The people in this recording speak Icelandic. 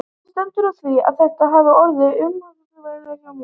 Hvernig stendur á því að þetta hafa orðið umhugsunarefni hjá mér?